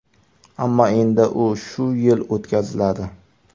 Ammo endi u shu yil o‘tkaziladi.